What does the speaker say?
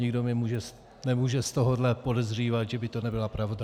Nikdo mě nemůže z tohohle podezřívat, že by to nebyla pravda.